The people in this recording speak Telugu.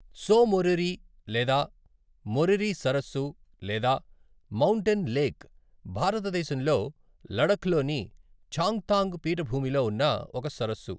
త్సో మోరిరీ లేదా మోరిరీ సరస్సు లేదా 'మౌంటెన్ లేక్' భారతదేశంలో లడఖ్ లోని చాంగ్థాంగ్ పీఠభూమిలో ఉన్న ఒక సరస్సు.